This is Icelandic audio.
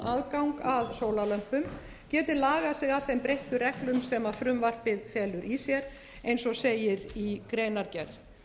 aðgang að sólarlömpum geti lagað þau að þeim breyttu reglum sem frumvarpið felur í sér eins og segir í greinargerð